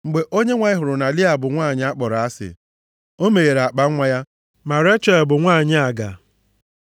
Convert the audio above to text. Mgbe Onyenwe anyị hụrụ na Lịa bụ nwanyị a kpọrọ asị, o meghere akpanwa ya, ma Rechel bụ nwanyị aga.